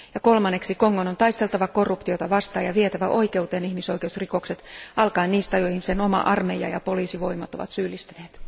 Kolmanneksi korostetaan, että Kongon on taisteltava korruptiota vastaan ja vietävä oikeuteen ihmisoikeusrikokset, aloittaen niistä, joihin sen oma armeija ja poliisivoimat ovat syyllistyneet.